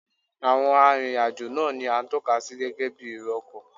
Àwọn arìnrìn-àjò náà ni à ń tọ́ka sí gẹ́gẹ́ bí èrò ọkọ̀